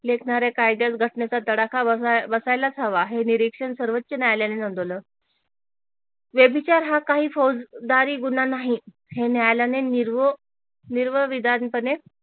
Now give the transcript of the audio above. लेखणाऱ्या कायदास घटनेचा तडाखा बसायलाच हवा हे निरीक्षण सर्वोच्च न्यायालयाने नोंदवल हा काही फौजदारी गुन्हा नाही हे न्यायालयाने निर्व विधानपणे